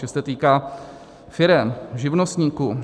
Že se týká firem, živnostníků.